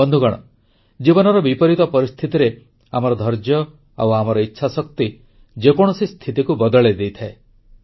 ବନ୍ଧୁଗଣ ଜୀବନର ବିପରୀତ ପରିସ୍ଥିତିରେ ଆମର ଧୈର୍ଯ୍ୟ ଆଉ ଆମର ଇଚ୍ଛାଶକ୍ତି ଯେକୌଣସି ସ୍ଥିତିକୁ ବଦଳାଇ ଦେଇଥାଏ